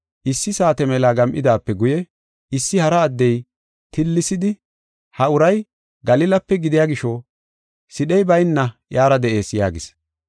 Issi saate mela gam7idaape guye issi hara addey tillisidi, “Ha uray Galilape gidiya gisho sidhey bayna iyara de7ees” yaagis.